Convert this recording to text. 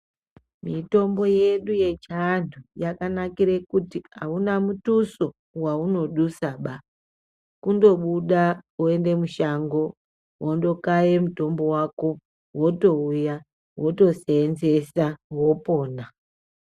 Mitombo yedu yechiantu yakanakire kuti hauna mutuso waunodusaba. Kundobuda, woende mushango wondokaye mutombo wako wotouya wotoseenzesa wopona.